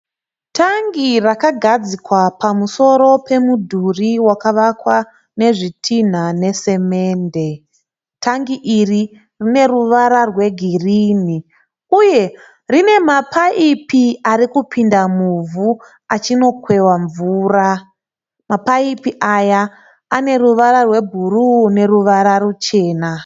Tangi rakagadzikwa pamusoro pemudhuri wakavakwa nezvitinha nesimende. Tangi iri rine ruvara rwegirini uye rine mapaipi ari kupinda muvhu achino kweva mvura. Mapaipi aya ane ruvara rwebhuruu neruvara ruchena.